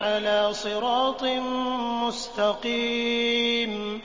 عَلَىٰ صِرَاطٍ مُّسْتَقِيمٍ